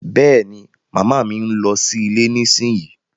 Bẹ́ẹ̀ni, Mama mi ń lọ sí ilé nísìnyí